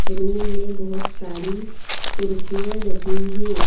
Room में बहुत सारी कुर्सियां लगी हैं।